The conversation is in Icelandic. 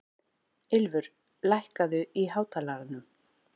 Ylfur, lækkaðu í hátalaranum.